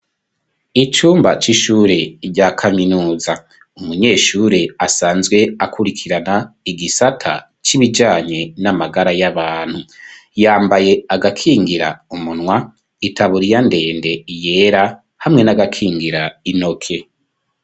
Icumba c'ishure rya kaminuza, umunyeshure asanzwe akurikirana igisata c'ibijanye n'amagara y'abantu, yambaye agakingira umunwa, itaburiya ndende yera hamwe n'agakingira intoke.